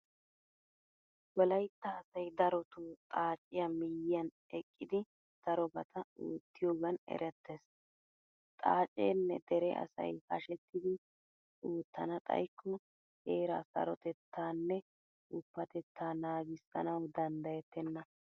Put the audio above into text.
Wolaytta asay darotoo xaaciya miyyiyan eqqidi darobata oottiyogan erettees. Xaaceenne dere asay hashetidi oottana xayikko heeraa sarotettaanne woppatettaa naagissanawu danddayettenna.